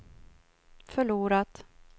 förlorat